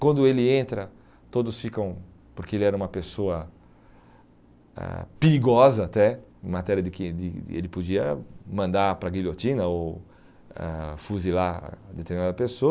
Quando ele entra, todos ficam, porque ele era uma pessoa ãh perigosa até, em matéria de que ele de ele podia mandar para a guilhotina ou ãh fuzilar determinada pessoa.